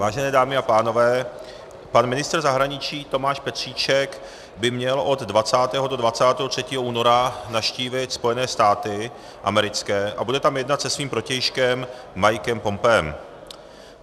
Vážené dámy a pánové, pan ministr zahraničí Tomáš Petříček by měl od 20. do 23. února navštívit Spojené státy americké a bude tam jednat se svým protějškem Mikem Pompeem.